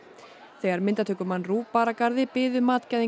þegar myndatökumann RÚV bar að garði biðu